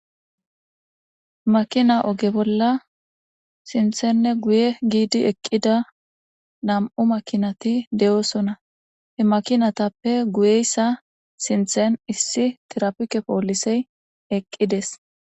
Makina oge bolla sinthanne guye giidi eqqida nam'u makinati de'oosona. He makinatappe guyeyessa sinthan issi tirapike poolisey eqqides.